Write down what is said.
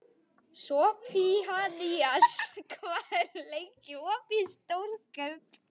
Sophanías, hvað er lengi opið í Stórkaup?